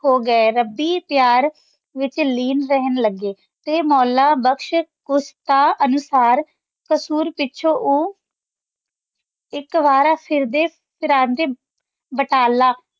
ਹੋ ਗਾਯ ਰਾਬੀ ਪਯਾਰ ਵਿਚ ਲੇਨ ਰੇਹਾਨ ਲਾਗੇ ਤੇ ਮੌਲਾ ਬਕਸ਼ ਕੁਸਤਾ ਅਨੁਸਾਰ ਕਸੂਰ ਪਿਛੋਂ ਊ ਏਇਕ ਵਾਰ ਫਿਰਦੇ ਫਿਰੰਦੇ ਬਟਾਲਾ